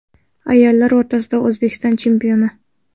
Ayollar o‘rtasida O‘zbekiston chempioni.